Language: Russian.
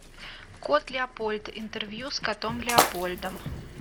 кот леопольд интервью с котом леопольдом